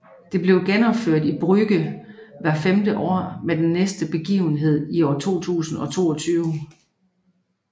Det bliver genopført i Brugge hvert femte år med den næste begivenhed i 2022